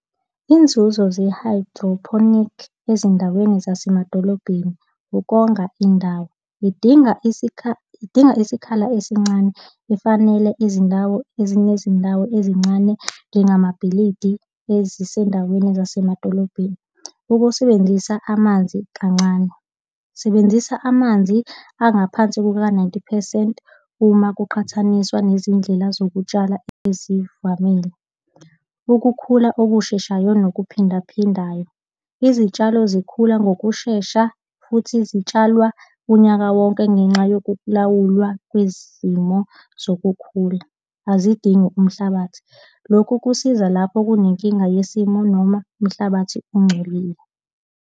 Inzuzo ze-hydroponic ezindaweni zasemadolobheni. Ukonga indawo. Idinga idinga isikhala esincane efanele izindawo ezinye izindawo ezincane, njengamabhilidi nezisendaweni zasemadolobheni. Ukusebenzisa amanzi kancane. Sebenzisa amanzi angaphansi kuka-ninety phesenti uma kuqhathaniswa nezindlela zokutshala ezivamile. Ukukhula okusheshayo, nokuphindaphindayo. Izitshalo zikhula ngokushesha futhi zitshalwa unyaka wonke ngenxa yokulawulwa kwezimo zokukhula azidingi umhlabathi. Lokhu kusiza lapho kunenkinga yesimo noma umhlabathi ongcolile.